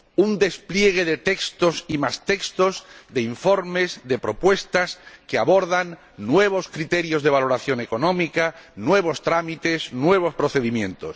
Un despliegue de textos y más textos, de informes, de propuestas, que abordan nuevos criterios de valoración económica, nuevos trámites, nuevos procedimientos.